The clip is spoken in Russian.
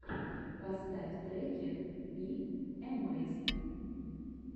поставь треки би эмэйзд